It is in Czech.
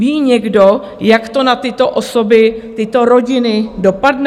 Ví někdo, jak to na tyto osoby, tyto rodiny dopadne?